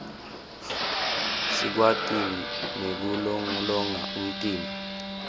sikwati nekulolonga umtimba